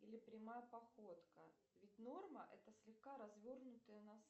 или прямая походка ведь норма это слегка развернутые носы